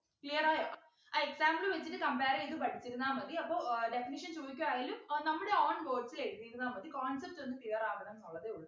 clear ആയോ ആ example വച്ചിട്ട് compare ചെയ്തു പഠിച്ചിരുന്നാൽ മതി അപ്പൊ ഏർ definition ചോദിക്കു ആയാലും ഏർ നമ്മുടെ own words ൽ എഴുതിയിരുന്നാ മതി concept ഒന്ന് clear ആവണം ന്നുള്ളതേ ഉള്ളു